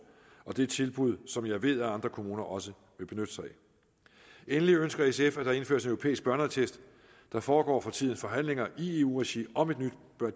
og det er tilbud som jeg ved andre kommuner også vil benytte sig af endelig ønsker sf at der indføres en europæisk børneattest der foregår for tiden forhandlinger i eu regi om et nyt